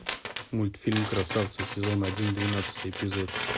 мультфильм красавцы сезон один двенадцатый эпизод